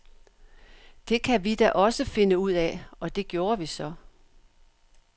Det kan vi da også finde ud af, og det gjorde vi så.